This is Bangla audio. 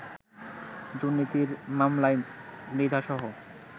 দুর্নীতির মামলায় মৃধাসহ